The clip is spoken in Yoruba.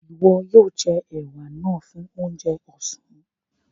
Iwọ̀ yoo jẹ̀ è̩wà náà fún ọ̀njẹ̀ ọ̀sán.